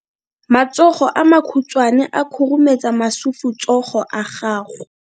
Matsogo a makhutshwane a khurumetsa masufutsogo a gago.